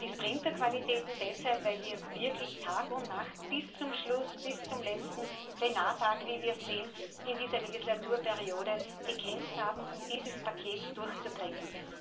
Und die Sprinterqualitäten deshalb, weil wir wirklich Tag und Nacht bis zum Schluss, bis zum letzten Plenartag, wie wir sehen, in dieser Wahlperiode gekämpft haben, um dieses Paket durchzubringen.